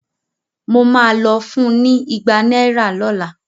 Mo ma lọ fun ní igba náírà lọ́la